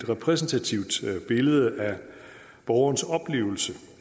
repræsentativt billede af borgerens oplevelse